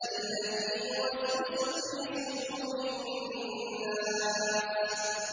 الَّذِي يُوَسْوِسُ فِي صُدُورِ النَّاسِ